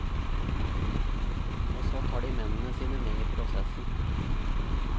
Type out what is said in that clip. Og så tar de mennene sine med i prosessen.